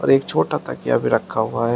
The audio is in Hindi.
एक छोटा तकिया भी रखा हुआ है।